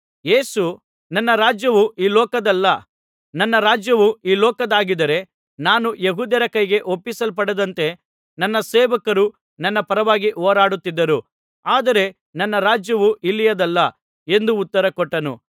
ಯೇಸು ನನ್ನ ರಾಜ್ಯವು ಈ ಲೋಕದ್ದಲ್ಲ ನನ್ನ ರಾಜ್ಯವು ಈ ಲೋಕದ್ದಾಗಿದ್ದರೆ ನಾನು ಯೆಹೂದ್ಯರ ಕೈಗೆ ಒಪ್ಪಿಸಲ್ಪಡದಂತೆ ನನ್ನ ಸೇವಕರು ನನ್ನ ಪರವಾಗಿ ಹೋರಾಡುತ್ತಿದ್ದರು ಆದರೆ ನನ್ನ ರಾಜ್ಯವು ಇಲ್ಲಿಯದಲ್ಲ ಎಂದು ಉತ್ತರಕೊಟ್ಟನು